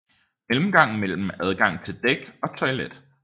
Mellemgang med adgang til dæk og toilet